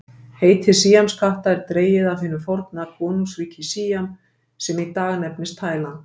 Heiti síamskatta er dregið af hinu forna konungsríki Síam sem í dag nefnist Tæland.